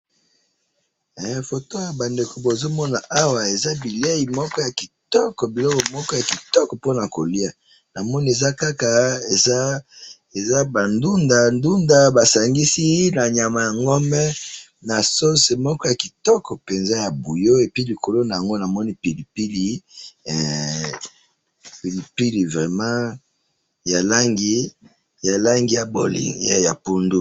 Photo bandeko bozo mona awa ,eza bilei moko ya kitoko ,bilei moko ya kitoko pona ko lia, namoni eza kaka, eza ba ndunda ,ndunda moko basangisi na nyama ya ngombe na sauce moko ya kitoko penza ya bouillon et puis likolo namoni pilipili, pilipili vraiment ya langi ya pondu